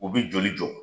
U bɛ joli jɔ